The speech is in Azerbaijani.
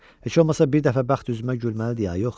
Heç olmasa bir dəfə bəxt üzümə gülməlidir ya yox?